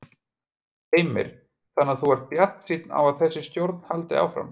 Heimir: Þannig að þú ert bjartsýn á að þessi stjórn haldi áfram?